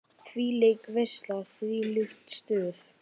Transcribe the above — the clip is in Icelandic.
Þvílík veisla, þvílíkt stuð.